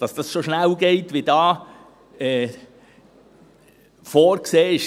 Dass es so schnell geht, wie hier vorgesehen ist: